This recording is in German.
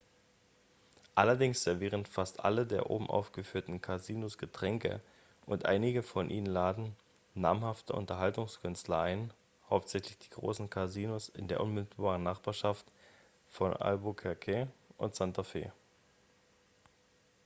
allerdings servieren fast alle der oben aufgeführten casinos getränke und einige von ihnen laden namhafte unterhaltungskünstler ein hauptsächlich die großen casinos in der unmittelbaren nachbarschaft von albuquerque und santa fe